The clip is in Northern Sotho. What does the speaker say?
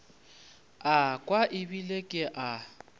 a kwa ebile ke a